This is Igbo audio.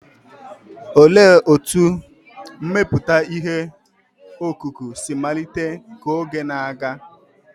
Olee otú mmepụta ihe ọkụkụ si malite ka oge na-aga?